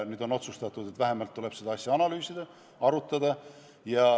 Nüüd on otsustatud, et vähemalt tuleb seda asja analüüsida, arutada.